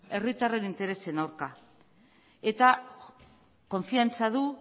herritarren interesen aurka eta konfidantza du